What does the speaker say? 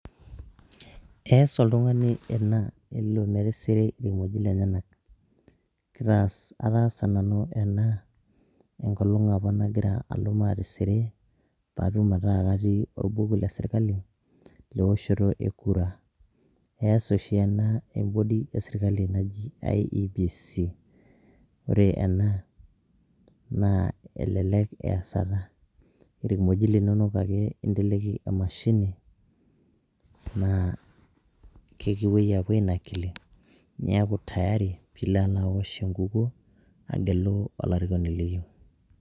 Ees oltungani ena elo metisiri ilkimojik lenyenak , ataasa nanu ena enkolong' apa nagira alo maatisiri pee atum ataa katii olbuku le sirkali, leoshoto e. Kura ees oshi ena e body esirkali naji iebc, ore ena naa elelek easata, emashini naa kekipuoi apuo ainakili, niaku tayari pee ilo alo aosh enkukuo, aagelu olarikoni liyieu.